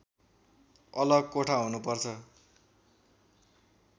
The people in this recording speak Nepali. अलग कोठा हुनुपर्छ